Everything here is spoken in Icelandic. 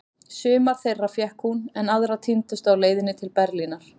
Sumar þeirra fékk hún, en aðrar týndust á leiðinni til Berlínar.